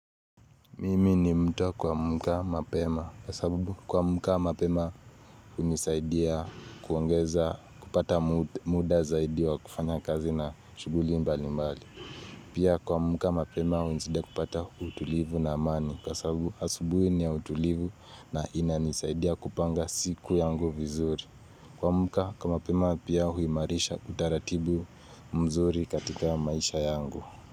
Mimi ni mtu wa kuamka mapema kwa sababu kuamka mapema hunisaidia kuongeza kupata muda zaidi wa kufanya kazi na shughuli mbali mbali. Pia kuamka mapema hunisaidia kupata utulivu na amani kwa sababu asubuhi ni ya utulivu na inanisaidia kupanga siku yangu vizuri. Kuamka kwa mapema pia huimarisha utaratibu mzuri katika maisha yangu.